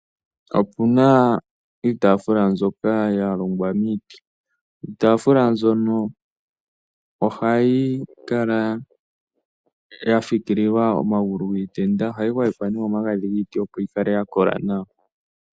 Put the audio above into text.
Opuna iitafula mbyoka yalongwa miiti, iitafula mbyono ohayi kala yafikililwa omagulu giitenda , ohayi gwayekwa me omagadhi giiti opo yikale ya kola nawa.